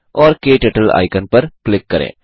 और क्टर्टल आइकन पर क्लिक करें